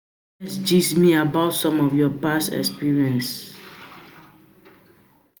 gist me about some of your past life experiences?